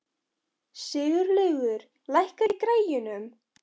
Sigurlaugur, lækkaðu í græjunum.